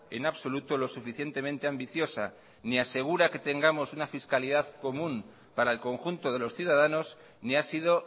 en absoluto lo suficientemente ambiciosa ni asegura que tengamos una fiscalidad común para el conjunto de los ciudadanos ni ha sido